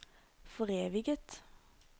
foreviget